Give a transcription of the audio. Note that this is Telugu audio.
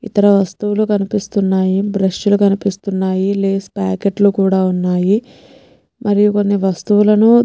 ఇతర వస్తువులు కనిపిస్తున్నాయి బ్రష్ లు కనిపిస్తున్నాయి లేస్ పాకెట్ లు కూడా ఉన్నాయి. మరి కొన్ని వస్తువులను --